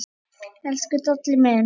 Elsku Dalli minn.